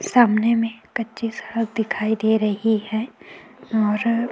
सामने में कच्ची सड़क दिखाई दे रही है और --